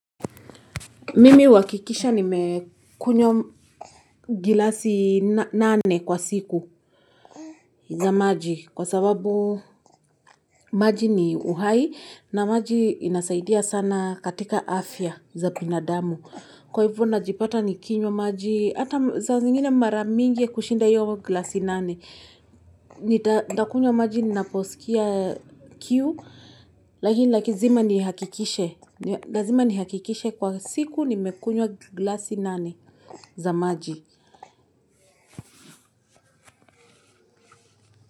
Mimi huakikisha nimekunywa gilasi nane kwa siku za maji kwa sababu maji ni uhai na maji inasaidia sana katika afya za binadamu. Kwa hivyo najipata ni kinywa maji hata za zingine mara mingi kushinda hiyo gilasi nane. Nitakunywa maji ninaposikia kiu lakini lazima nihakikishe. Lazima nihakikishe kwa siku nimekunywa gilasi nane. Za maji.